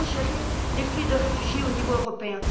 Comment gérer les flux de réfugiés au niveau européen?